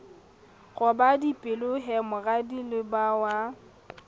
roba dipelo he moradia lebajwa